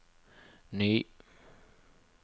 ny